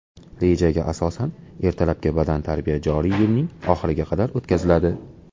Rejaga asosan, ertalabki badantarbiya joriy yilning oxiriga qadar o‘tkaziladi.